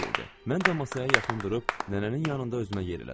Mən də masaya yaxın durub nənənin yanında özümə yer elədim.